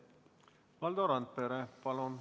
Valdo Randpere, palun!